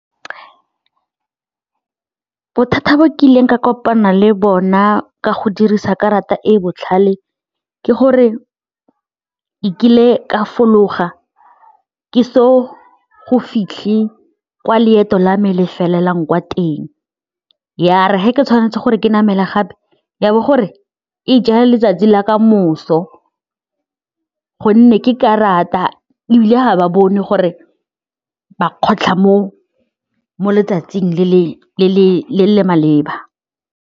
Bothata bo kileng ka kopana le bona ka go dirisa karata e e botlhale ke gore e kile ka fologa ke so go fitlhe kwa loeto la me le felelang ka teng, ya re ge ke tshwanetse gore ke namela gape ya bo gore e ja ya letsatsi la kamoso gonne ke karata ebile ha ba bone gore ba kgotlha mo mo letsatsing le le maleba.